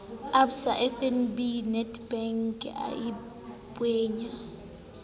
absa fnb nedbank a beyang